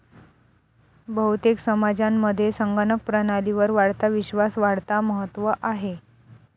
बहुतेक समाजांमध्ये संगणक प्रणालीवर वाढता विश्वास वाढता महत्व आहे.